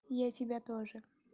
я тебя тоже